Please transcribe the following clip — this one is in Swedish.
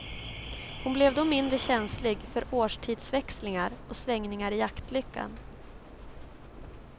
Hon blev då mindre känslig för årstidsväxlingar och svängningar i jaktlyckan.